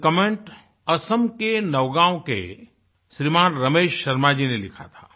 ये कमेंट असम के नौगाँव के श्रीमान रमेश शर्मा जी ने लिखा था